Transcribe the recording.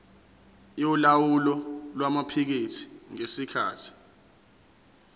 yolawulo lwamaphikethi ngesikhathi